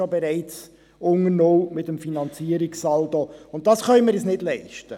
Dann sind wir bereits unter null mit dem Finanzierungssaldo, und das können wir uns nicht leisten.